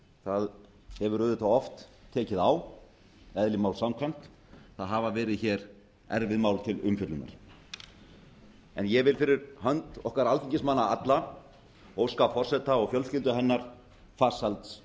það hefur auðvitað oft tekið á eðli máls samkvæmt það hafa verið hér erfið mál til umfjöllunar enég vil fyrir hönd okkar alþingismanna allra óska forseta og fjölskyldu hennar farsæls